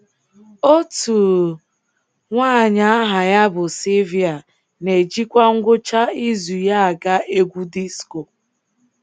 Otu nwanyị aha ya bụ Silvia na-ejikwa ngwụcha izu ya aga egwu disko.